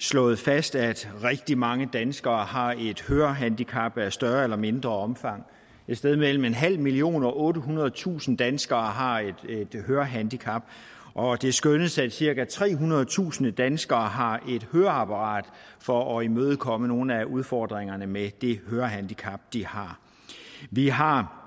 slå fast at rigtig mange danskere har et hørehandicap af større eller mindre omfang et sted mellem en halv million og ottehundredetusind danskere har et hørehandicap og det skyldes at cirka trehundredetusind danskere har et høreapparat for at imødekomme nogle af udfordringerne med det hørehandicap de har vi har